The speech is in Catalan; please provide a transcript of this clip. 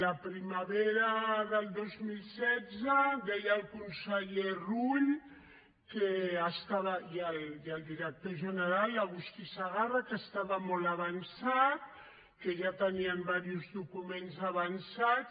la primavera del dos mil setze deien el conseller rull i el director general l’agustí segarra que estava molt avançat que ja tenien diversos documents avançats